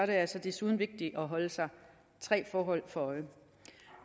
det altså desuden vigtigt at holde sig tre forhold for øje